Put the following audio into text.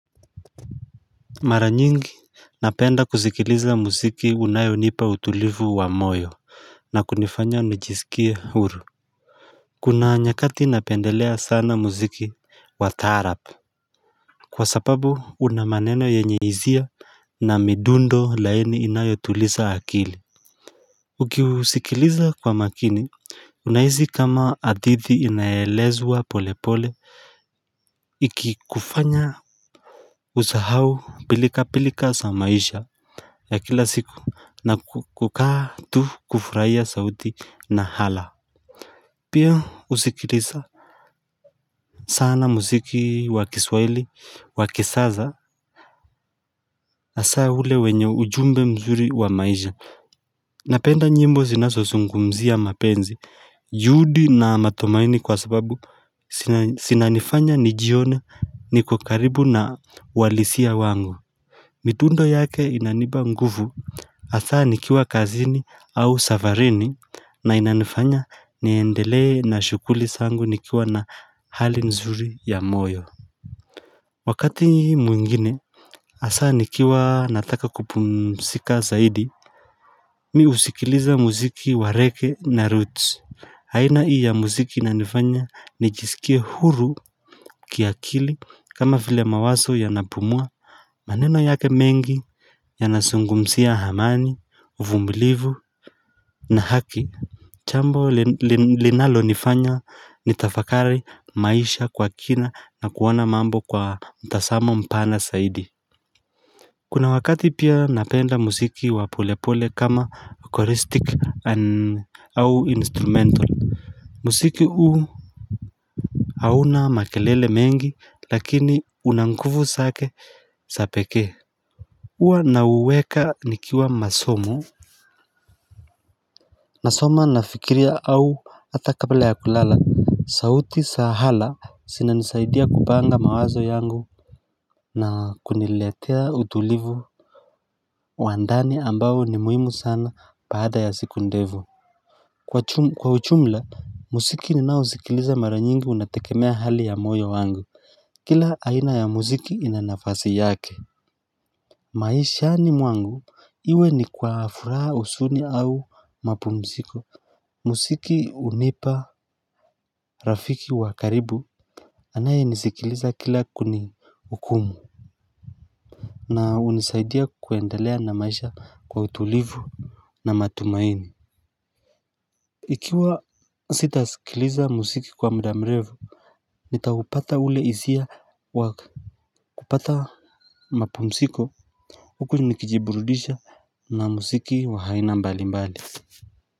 Mara nyingi napenda kusikiliza muziki unayonipa utulivu wa moyo na kunifanya nijisikie huru Kuna nyakati napendelea sana muziki wa taraab Kwa sababu unamaneno yenye hisia na midundo laini inayotuliza akili Ukiusikiliza kwa makini unahisi kama hadithi inaelezwa pole pole ikikufanya usahau pilika pilika za maisha ya kila siku na kukaa tu kufurahia sauti na hala Pia husikiliza sana muziki wa kiswahili wa kisasa hasa ule wenye ujumbe mzuri wa maisha Napenda nyimbo zinazozungumzia mapenzi juhudi na matumaini kwa sababu zinanifanya nijione, niko karibu na uhalisia wangu Mitundo yake inanipa nguvu hasa nikiwa kazini au safarini na inanifanya niendelee na shughuli zangu nikiwa na hali nzuri ya moyo Wakati nyi mwingine hasa nikiwa nataka kupumzika zaidi Mi husikiliza muziki wa reggae na roots aina hii ya muziki inanifanya nijisikie huru kiakili kama vile mawazo yanapumua maneno yake mengi Yanazungumzia amani uvumilivu na haki jambo linalo nifanya ni tafakari maisha kwa kina na kuona mambo kwa mtazamo mpana zaidi Kuna wakati pia napenda muziki wa polepole kama eucharistic au instrumental muziki huu hauna makelele mengi lakini unanguvu zake za pekee huwa nauweka nikiwa masomo nasoma nafikiria au hata kabla ya kulala, sauti za hala zinanisaidia kupanga mawazo yangu na kuniletea utulivu wa ndani ambao ni muhimu sana baada ya siku ndefu Kwa ujumla, muziki ninaosikiliza mara nyingi unategemea hali ya moyo wangu Kila aina ya musiki inanafasi yake maishani mwangu, iwe ni kwa furaha huzuni au mapumziko muziki hunipa rafiki wa karibu anaye nisikiliza kila kunihukumu na hunisaidia kuendelea na maisha kwa utulivu na matumaini Ikiwa sitasikiliza muziki kwa muda mrefu nitaupata ule hisia wakupata mapumziko huku nikijiburudisha na muziki wa aina mbali mbali.